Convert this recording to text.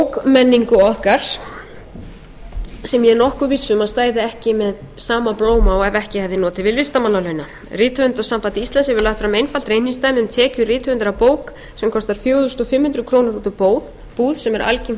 bókmenningu okkar sem ég er nokkuð viss um að stæði ekki með sama blóma og ef ekki hefði notið við listamannalauna rithöfundasamband íslands hefur lagt fram einfalt reikningsdæmi um tekjur rithöfundar af bók sem kostar fjögur þúsund fimm hundruð krónur út úr búð sem er algengt verð